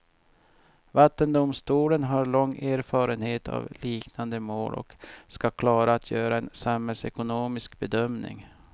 Vattendomstolen har lång erfarenhet av liknande mål och ska klara att göra en samhällsekonomisk bedömning.